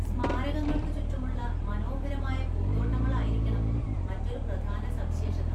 സ്മാരകങ്ങൾക്ക് ചുറ്റുമുള്ള മനോഹരമായ പൂന്തോട്ടങ്ങളായിരിക്കണം മറ്റൊരു പ്രധാന സവിശേഷത.